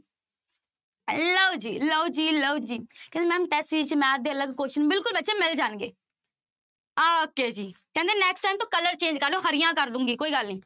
ਲਓ ਜੀ, ਲਓ ਜੀ, ਲਓ ਜੀ ਕਹਿੰਦੇ ma'am math ਦੇ ਅਲੱਗ question ਬਿਲਕੁਲ ਬੱਚੇ ਮਿਲ ਜਾਣਗੇ okay ਜੀ ਕਹਿੰਦੇ next time ਤੋਂ color change ਕਰ ਲਓ, ਹਰੀਆਂ ਕਰ ਦਊਂਗੀ ਕੋਈ ਗੱਲ ਨੀ।